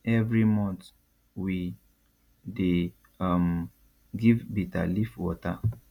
every month we dey um give bitter leaf water